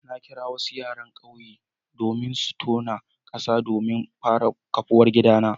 Na kira wasu yaran kauye su tona kasa domin in fara kafuwar gidana.